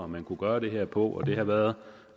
man kunne gøre det her på det har været